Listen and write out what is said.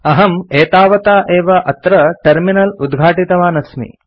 अहम् एतावता एव अत्र टर्मिनल उद्घाटितवान् अस्मि